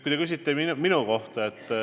Aga te küsisite minu kohta.